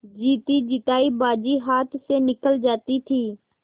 जीतीजितायी बाजी हाथ से निकली जाती थी